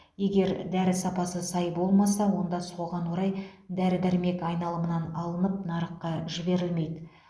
егер дәрі сапасы сай болмаса онда соған орай дәрі дәрмек айналымынан алынып нарыққа жіберілмейді